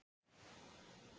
Melgötu